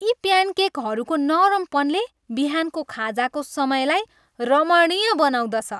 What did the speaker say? यी प्यानकेकहरूको नरमपनले बिहानको खाजाको समयलाई रमणीय बनाउँदछ।